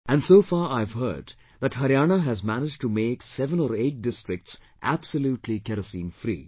And so far I've heard that Haryana has managed to make seven or eight districts absolutely Kerosene free